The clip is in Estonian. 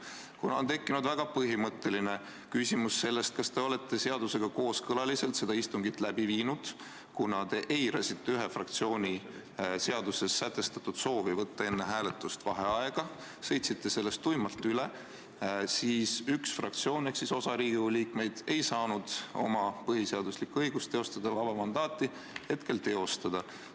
Kuna on tekkinud väga põhimõtteline küsimus, kas te olete seda istungit läbi viinud seadusega kooskõlas, kuna te eirasite ühe fraktsiooni seaduses sätestatud soovi võtta enne hääletust vaheaeg, sõitsite sellest tuimalt üle, siis üks fraktsioon ehk osa Riigikogu liikmeid ei saanud oma põhiseaduslikku õigust, oma mandaati kasutada.